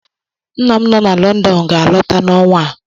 Nna m nọ na Lọndọn ga-alọta n'ọnwa a